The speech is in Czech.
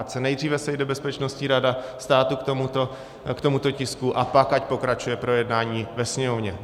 Ať se nejdříve sejde Bezpečnostní rada státu k tomuto tisku a pak ať pokračuje projednávání ve Sněmovně.